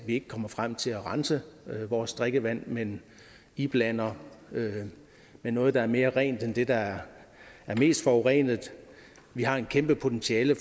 ikke kommer frem til at rense vores drikkevand men iblander det noget der er mere rent end det der er mest forurenet vi har et kæmpe potentiale